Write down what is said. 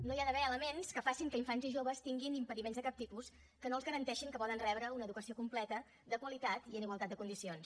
no hi ha d’haver elements que facin que infants i joves tinguin impediments de cap tipus que no els garanteixin que poden rebre una educació completa de qualitat i en igualtat de condicions